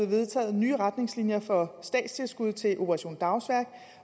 vedtaget nye retningslinjer for statstilskud til operation dagsværk